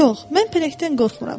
Yox, mən pələngdən qorxmuram.